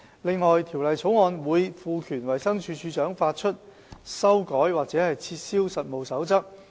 此外，《條例草案》會賦權衞生署署長發出、修改或撤銷實務守則。